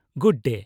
-Good ᱰᱮ ᱾